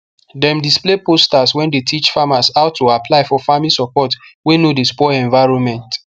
dem display posters wey dey teach farmers how to apply for farming support wey no dey spoil environment